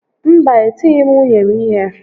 Mba e tighi m nwunye m ihe